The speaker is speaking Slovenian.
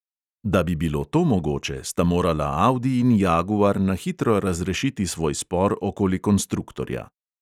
Da bi bilo to mogoče, sta morala audi in jaguar na hitro razrešiti svoj spor okoli konstruktorja.